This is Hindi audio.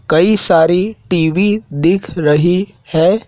कई सारी टी_वी दिख रही है।